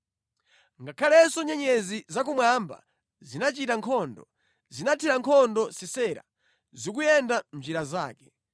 Ngakhalenso nyenyezi zakumwamba zinachita nkhondo, zinathira nkhondo Sisera, zikuyenda mʼnjira zake.